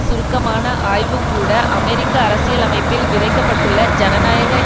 சுருக்கமான ஆய்வு கூட அமெரிக்க அரசியலமைப்பில் விதிக்க பட்டுள்ள ஜனநாயக